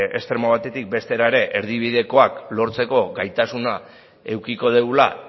estremo batetik bestera ere erdibidekoak lortzeko gaitasuna edukiko dugula